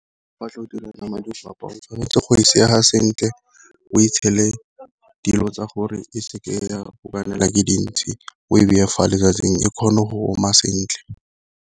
Fa tlo go dira nama digwapa o tshwanetse go e sega sentle, o e tshele dilo tsa gore e seke ya go kokwanelwa ke dintsi, o beye fa letsatsing e kgone go oma sentle.